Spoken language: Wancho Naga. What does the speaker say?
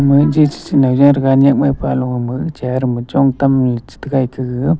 ama chi chi chinow tega nekmai pa low chair chong tam chi taiga ete gaga.